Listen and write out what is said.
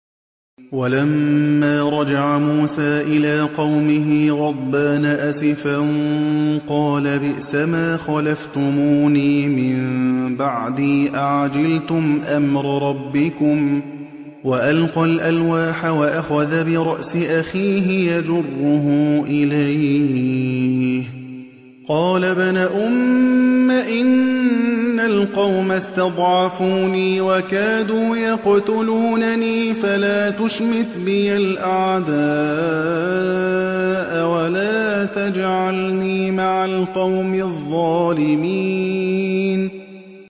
وَلَمَّا رَجَعَ مُوسَىٰ إِلَىٰ قَوْمِهِ غَضْبَانَ أَسِفًا قَالَ بِئْسَمَا خَلَفْتُمُونِي مِن بَعْدِي ۖ أَعَجِلْتُمْ أَمْرَ رَبِّكُمْ ۖ وَأَلْقَى الْأَلْوَاحَ وَأَخَذَ بِرَأْسِ أَخِيهِ يَجُرُّهُ إِلَيْهِ ۚ قَالَ ابْنَ أُمَّ إِنَّ الْقَوْمَ اسْتَضْعَفُونِي وَكَادُوا يَقْتُلُونَنِي فَلَا تُشْمِتْ بِيَ الْأَعْدَاءَ وَلَا تَجْعَلْنِي مَعَ الْقَوْمِ الظَّالِمِينَ